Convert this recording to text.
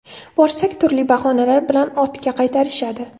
Borsak, turli bahonalar bilan ortga qaytarishadi.